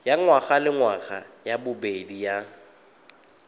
ya ngwagalengwaga ya bobedi ya